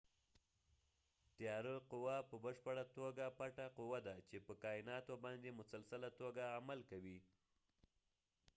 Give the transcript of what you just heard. تیاره قوه په پشپړه توګه پټه قوه ده چې په کایناتو باندي مسلسله تو ګه عمل کوي